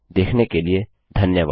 देखने के लिए धन्यवाद